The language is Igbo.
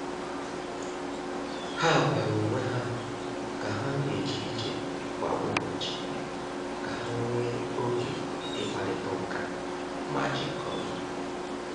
Ha gwara onwe ha ka ha na-eje ije kwa ụbọchị ka ha nwee oge ịkparịta ụka ma jikọọ.